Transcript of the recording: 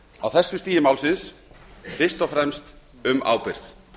á þessu stigi málsins fyrst og fremst um ábyrgð